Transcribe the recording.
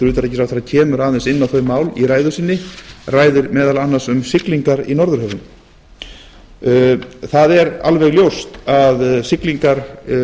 utanríkisráðherra kemur aðeins inn á þau mál í ræðu sinni ræðir meðal annars um siglingar í norðurhöfum það er alveg ljóst að siglingar